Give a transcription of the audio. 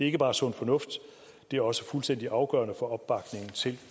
ikke bare sund fornuft det er også fuldstændig afgørende for opbakningen til